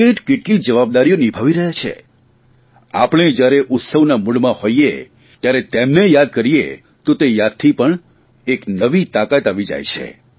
કેટકેટલી જવાબદારીઓ નિભાવી રહ્યા છે આપણે જયારે ઉત્સવના મૂડમાં હોઇએ ત્યારે તેમને યાદ કરીએ તો તે યાદથીપણ એક નવી તાકાત આવી જાય છે